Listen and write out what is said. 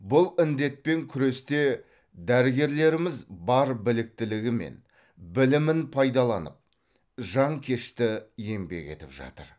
бұл індетпен күресте дәрігерлеріміз бар біліктілігі мен білімін пайдаланып жанкешті еңбек етіп жатыр